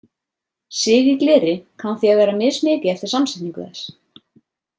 Sig í gleri kann því að vera mismikið eftir samsetningu þess.